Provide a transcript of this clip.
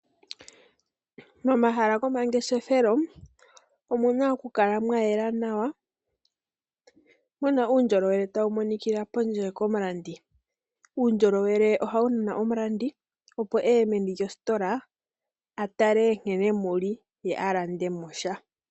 Momahala gomangeshefelo omuna okukala mwayela nawa , muna uundjolowele tawu monikila pondje komulandi. Uundjolowele ohawu nana omulandi , opo eye meni lyositola atale nkene muli, ye alandemo sha.